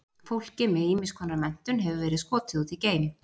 Fólki með ýmiss konar menntun hefur verið skotið út í geim.